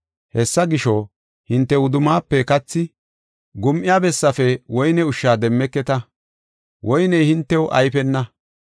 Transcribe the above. Hessa gisho, hinte wudummaafe kathi, gum7iya bessaafe woyne ushsha demmeketa; woyney hintew ayfena.